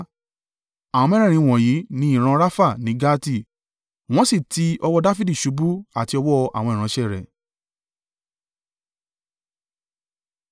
Àwọn mẹ́rẹ̀ẹ̀rin wọ̀nyí ni ìran Rafa ní Gati, wọ́n sì ti ọwọ́ Dafidi ṣubú àti ọwọ́ àwọn ìránṣẹ́ rẹ̀.